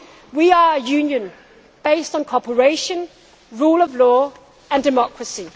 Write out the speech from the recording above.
Union. We are a Union based on cooperation, rule of law and democracy.